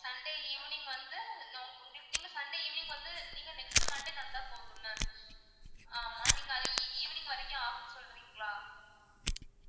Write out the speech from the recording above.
sunday evening வந்து உங்களுக்கு நீங்க sunday evening வந்து நீங்க next monday தந்தா போதும் ma'am ஆமா நீங்க அது evening வரைக்கும் ஆகுன்னு சொல்றீங்களா?